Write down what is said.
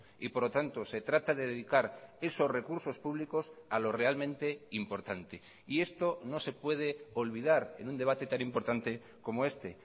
y por lo tanto se trata de dedicar esos recursos públicos a lo realmente importante y esto no se puede olvidar en un debate tan importante como este